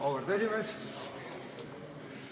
Auväärt esimees!